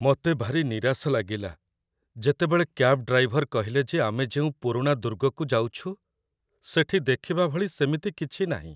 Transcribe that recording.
ମୋତେ ଭାରି ନିରାଶ ଲାଗିଲା, ଯେତେବେଳେ କ୍ୟାବ୍ ଡ୍ରାଇଭର କହିଲେ ଯେ ଆମେ ଯେଉଁ ପୁରୁଣା ଦୁର୍ଗକୁ ଯାଉଛୁ, ସେଠି ଦେଖିବା ଭଳି ସେମିତି କିଛି ନାହିଁ।